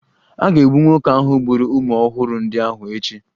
A ga-egbu nwoke gburu ụmụ ọhụrụ ndị ahụ echi